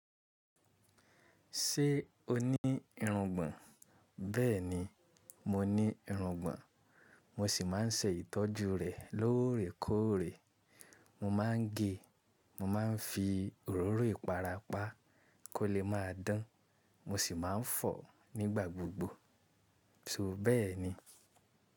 Ṣé o ní irungbọ̀n? Bẹ́ẹ̀ni, mo ní irungbọ̀n. Mo sì máa ń ṣe ìtọ́jú rè lóorèkóore. Mo máa ń gé, mo máa ń fi òróró ìpara pa kó lè má a dán, mo sì máa ń fọ̀ nígbà gbogbo. So bẹ́ẹ̀ni.